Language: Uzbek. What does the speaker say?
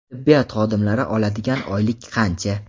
tibbiyot xodimlari oladigan oylik qancha?.